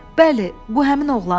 Bəli, bu həmin oğlandı.